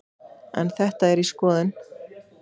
En þetta er í skoðun.